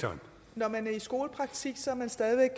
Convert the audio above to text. når man er i skolepraktik er man stadig væk